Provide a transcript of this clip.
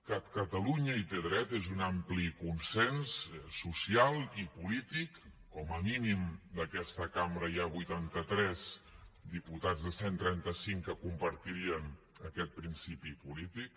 que catalunya hi té dret és un ampli consens social i polític com a mínim d’aquesta cambra hi ha vuitanta tres diputats de cent i trenta cinc que compartirien aquest principi polític